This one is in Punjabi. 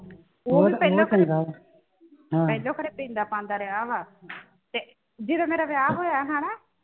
ਪਹਿਲੋਂ ਕਦੇ ਪੀਂਦਾ ਪਾਂਦਾ ਰਿਹਾ ਵਾ ਤੇ ਜੇ ਜਦੋਂ ਮੇਰਾ ਵਿਆਹ ਹੋਇਆ ਹਣਾ ਤੇ ਮੈਂ